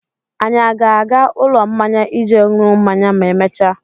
Anyi a ga-aga ụlọ mmanya ije ṅụọ mmanya ma emechaa?